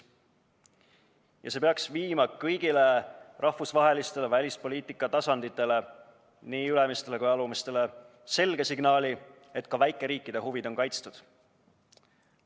Ja see peaks viima kõigile rahvusvahelistele välispoliitika tasanditele, nii ülemistele kui ka alumistele, selge signaali, et ka väikeriikide huvid on kaitstud.